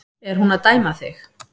Er hún að dæma þig?